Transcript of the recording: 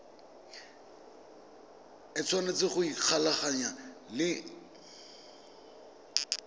o tshwanetse go ikgolaganya le